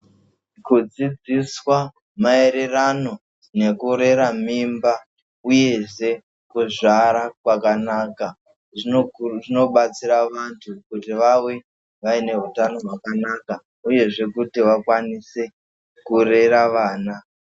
Kudzidziswa maererano nekurera mimba, uyezve kuzvara kwakanaka, zvinoku zvinobatsira vantu kuti vave nehutano hwakanaka, uyezve kuti vakwanise kurera vana.